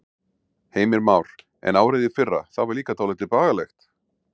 Heimir Már: En árið í fyrra, það var líka dálítið bagalegt?